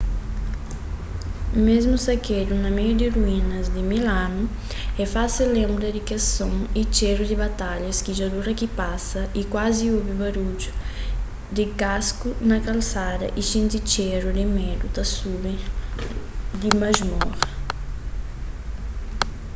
mésmu sakedu na meiu di ruínas di mil anu é fásil lenbra di kes son y txéru di batalhas ki dja dura ki pasa y kuazi obi barudju di kasku na kalsada y xinti txéru di medu ta subi di masmora